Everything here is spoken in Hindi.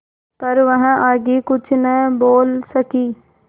पर वह आगे कुछ न बोल सकी